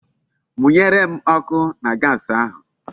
Munyere m oku na Gasi ahu